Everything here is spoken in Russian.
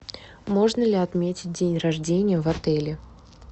можно ли отметить день рождения в отеле